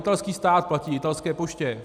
Italský stát platí italské poště.